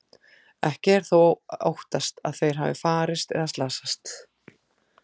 Ekki er þó óttast að þeir hafi farist eða slasast.